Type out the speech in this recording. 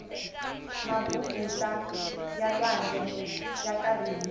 mabubutsa ya lwandle ya karihile